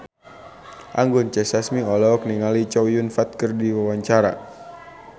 Anggun C. Sasmi olohok ningali Chow Yun Fat keur diwawancara